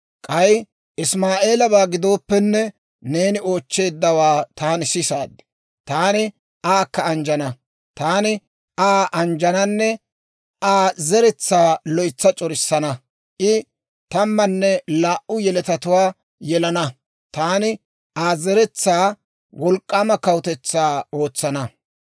K'ay Isimaa'eelabaa gidooppenne, neeni oochcheeddawaa taani sisaad; taani aakka anjjana; taani Aa anjjananne Aa zeretsaa loytsa c'orissana; I tammanne laa"u yeletatuwaa yelana; taani Aa zeretsaa wolk'k'aama kawutetsaa ootsana.